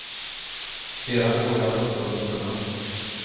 Sedan går jag på sunt förnuft.